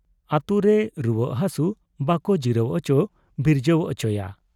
ᱟᱹᱛᱩ ᱨᱮ ᱨᱩᱣᱟᱹᱜ ᱦᱟᱹᱥᱩ ᱵᱟᱠᱚ ᱡᱤᱨᱟᱹᱣ ᱚᱪᱚ ᱵᱤᱨᱡᱟᱹᱣ ᱚᱪᱚᱭᱟ ᱾